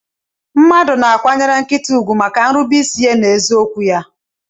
Mmadu na akwanyere nkita ugwu maka nrube isi nakwa ezi okwu ya.